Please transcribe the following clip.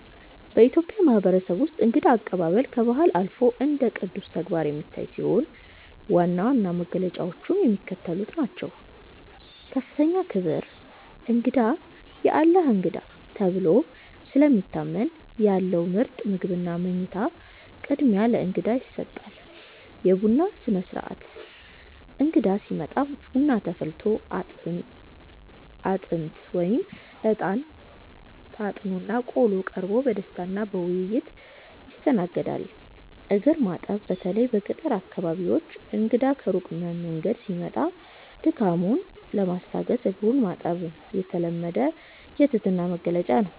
በኢትዮጵያ ማህበረሰብ ውስጥ እንግዳ አቀባበል ከባህል አልፎ እንደ ቅዱስ ተግባር የሚታይ ሲሆን፣ ዋና ዋና መገለጫዎቹም የሚከተሉት ናቸው፦ ከፍተኛ ክብር፦ እንግዳ "የአላህ እንግዳ" ተብሎ ስለሚታመን፣ ያለው ምርጥ ምግብና መኝታ ቅድሚያ ለእንግዳ ይሰጣል። የቡና ሥነ-ሥርዓት፦ እንግዳ ሲመጣ ቡና ተፈልቶ፣ አጥንት (እጣን) ታጥኖና ቆሎ ቀርቦ በደስታና በውይይት ይስተናገዳል። እግር ማጠብ፦ በተለይ በገጠር አካባቢዎች እንግዳ ከሩቅ መንገድ ሲመጣ ድካሙን ለማስታገስ እግሩን ማጠብ የተለመደ የትህትና መግለጫ ነው።